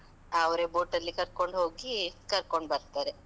ಅವ್ರೇ boat ಅಲ್ಲಿ ಕರ್ಕೋಂಡ್ ಹೋಗಿ, ಕರ್ಕೋಂಡ್ ಬರ್ತಾರೆ.